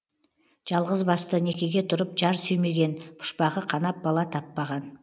жалғызбасты некеге тұрып жар сүймеген пұшпағы қанап бала таппаған